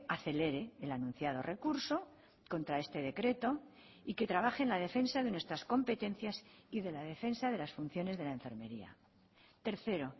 acelere el anunciado recurso contra este decreto y que trabaje en la defensa de nuestras competencias y de la defensa de las funciones de la enfermería tercero